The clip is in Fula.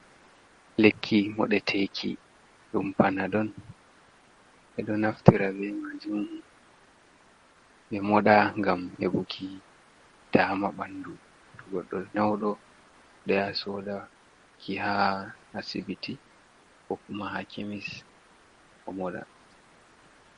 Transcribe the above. Lekki modeteki ɗum panadol ɓeɗo naftira be majum ɓe moɗa ngam heɓuki dama ɓanɗu to goɗɗo nƴauɗo ɗo yaha sodaki ha asibiti ko kuma ha kemis o moɗa.